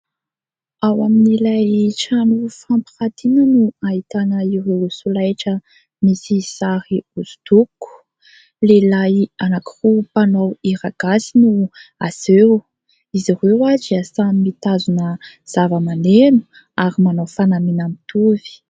Ao amin'ilay trano fampirantiana no ahitana ireo solaitra misy sary hosodoko, lehilahy anankiroa mpanao hira gasy no aseho, izy ireo dia samy mitazona zava-maneno ary manao fanamiana mitovy.